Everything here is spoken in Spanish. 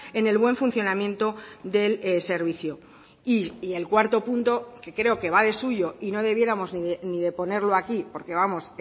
en el buen funcionamiento del servicio y el cuarto punto que creo que va de suyo y no debiéramos ni de ponerlo aquí porque vamos